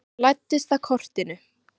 Hann læddist að kortinu.